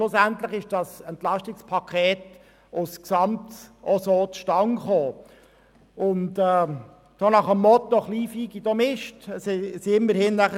Schlussendlich kam das EP 18 als Gesamtpaket nach dem Motto «Kleinvieh produziert auch Mist» zustande.